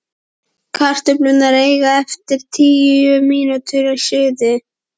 Kartöflurnar eiga eftir tíu mínútur í suðu.